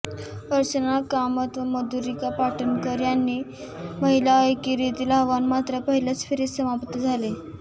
अर्चना कामत व मधुरिका पाटकर यांचे महिला एकेरीतील आव्हान मात्र पहिल्याच फेरीत समाप्त झाले